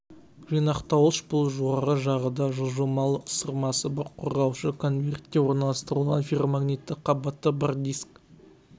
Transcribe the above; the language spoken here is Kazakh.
жинақтауыш бұл жоғары жағында жылжымалы ысырмасы бар қорғаушы конвертте орналастырылған ферромагнитті қабаты бар диск